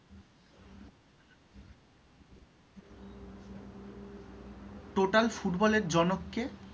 Total ফুটবলের জনক কে?